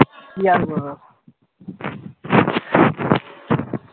কি আর করবো